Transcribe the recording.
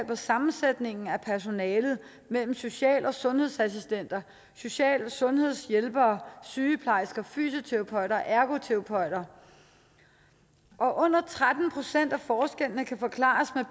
på sammensætningen af personalet mellem social og sundhedsassistenter social og sundhedshjælpere sygeplejersker fysioterapeuter og ergoterapeuter og under tretten procent af forskellene kan forklares